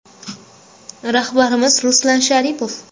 Rahbarimiz Ruslan Sharipov.